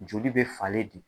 Joli be falen de.